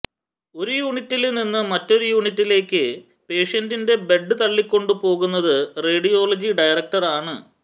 ഒരു യൂണിറ്റില് നിന്നും മറ്റൊരു യൂണിറ്റിലേക്ക് പേഷ്യന്റിന്റെ ബെഡ് തള്ളിക്കൊണ്ടു പോകുന്നത് റേഡിയോളജി ഡയറക്ടര് ആണ്